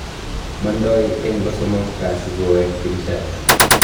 Mandoi eng kosomok kasi koweek Kinsasha